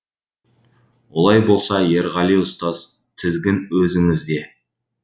олай болса ерғали ұстаз тізгін өзіңізде